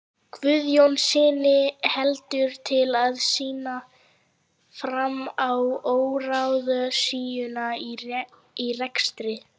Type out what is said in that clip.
Guðjónssyni heldur til að sýna fram á óráðsíuna í rekstri